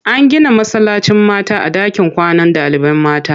An gina masallacin mata a ɗakin kwanan ɗalibai mata.